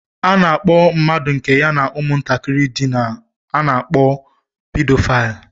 A na-akpọ mmadụ nke ya na ụmụntakịrị dina, a na-akpọ Pedophile